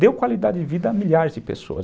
deu qualidade de vida a milhares de pessoas.